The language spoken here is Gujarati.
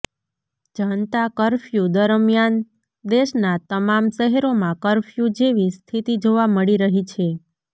જનતા કફર્યુ દરમિયાન દેશના તમામ શહેરોમાં કફર્યુ જેવી સ્થિતિ જોવા મળી રહી છે